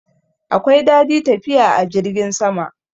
Akwai dadi tafiya a jirgin sama.